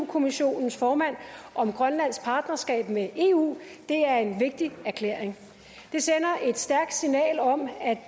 kommissionens formand om grønlands partnerskab med eu det er en vigtig erklæring det sender et stærkt signal om at